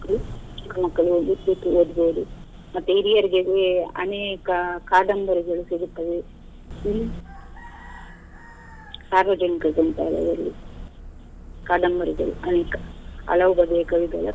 ಚಿಕ್ಕ ಮಕ್ಕಳಿಗೆ ಓದಿ ಸಲ್ಲಿಕೆ ಇರುದು ಮತ್ತೆ ಹಿರಿಯರಿಗೆ ಅನೇಕ ಕಾದಂಬರಿಗಳು ಸಿಗುತ್ತವೆ. ಇಲ್ಲಿ ಸಾರ್ವಜನಿಕ ಗ್ರಂಥಾಲಯದಲ್ಲಿ ಕಾದಂಬರಿಗಳು ಅನೇಕ ಹಲವು ಬಗೆಯ ಕವಿಗಳ.